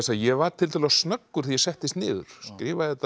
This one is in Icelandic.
ég var tiltölulega snöggur þegar ég settist niður skrifaði þetta í